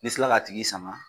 N'i sela ka tigi sama,